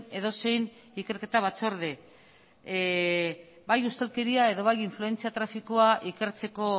edozein ikerketa batzorde bai ustelkeria eta bai influentzia trafikoa ikertzeko